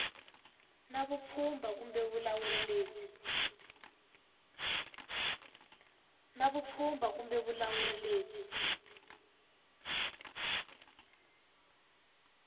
na vupfhumba kumbe vulawuri lebyi